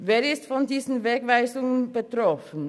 Wer ist von diesen Wegweisungen betroffen?